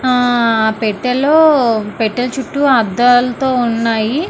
ఆ పెట్టెలో పెట్టె చుట్టూ అద్దాలతో ఉన్నాయి.